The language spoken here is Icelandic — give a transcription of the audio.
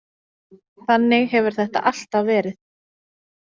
Þannig hefur þetta alltaf verið.